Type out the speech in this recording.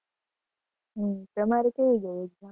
હમ તમારે કેવી ગઈ exam?